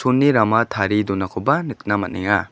uni rama tarie donakoba nikna man·enga.